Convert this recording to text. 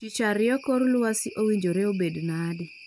Tich ariyo kor lwasi owinjore obed nade